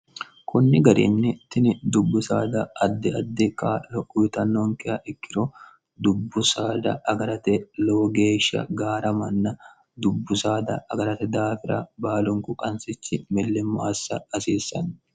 kunni garinni tini dubbu saada addi addi k ouyitannonkeh ikkiro dubbu saada agarate lowo geeshsha gaara manna dubbu saada agarate daafira baalunku qansichi millimmo assa hasiissanni